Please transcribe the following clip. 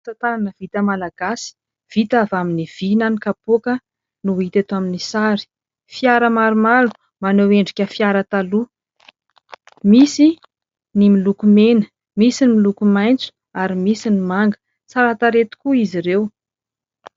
Asatanana vita malagasy vita avy amin'ny vy na ny kapoaka no hita eto amin'ny sary. Fiara maromaro maneho endrika fiara taloha, misy ny miloko mena, misy ny miloko maitso ary misy ny manga tsara tarehy tokoa izy ireo.